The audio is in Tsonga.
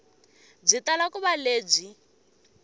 byi tala ku va lebyi